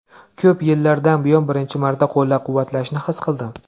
Ko‘p yillardan buyon birinchi marta qo‘llab-quvvatlashni his qildim.